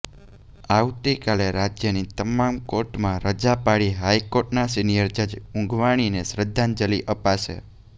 આવતીકાલે રાજ્યની તમામ કોર્ટમાં રજા પાળી હાઇકોર્ટનાં સિનિયર જજ ઊંધવાણીને શ્રદ્ધાંજલિ અપાશે